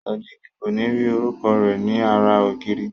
Sodiq ko ni ri orúkọ rẹ ní ara ògiri.